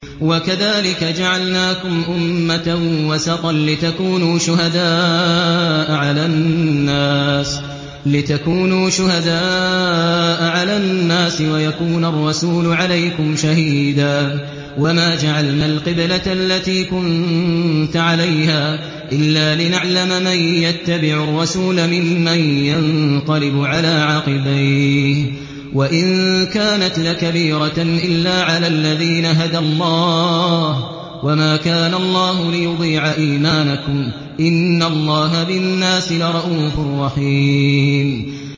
وَكَذَٰلِكَ جَعَلْنَاكُمْ أُمَّةً وَسَطًا لِّتَكُونُوا شُهَدَاءَ عَلَى النَّاسِ وَيَكُونَ الرَّسُولُ عَلَيْكُمْ شَهِيدًا ۗ وَمَا جَعَلْنَا الْقِبْلَةَ الَّتِي كُنتَ عَلَيْهَا إِلَّا لِنَعْلَمَ مَن يَتَّبِعُ الرَّسُولَ مِمَّن يَنقَلِبُ عَلَىٰ عَقِبَيْهِ ۚ وَإِن كَانَتْ لَكَبِيرَةً إِلَّا عَلَى الَّذِينَ هَدَى اللَّهُ ۗ وَمَا كَانَ اللَّهُ لِيُضِيعَ إِيمَانَكُمْ ۚ إِنَّ اللَّهَ بِالنَّاسِ لَرَءُوفٌ رَّحِيمٌ